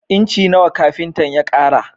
Inci nawa kafintan ya ƙara?